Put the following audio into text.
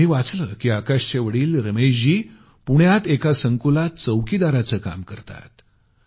मी वाचलं की आकाशचे वडील रमेशजी पुण्यात एका संकुलात चौकीदाराचं काम करतात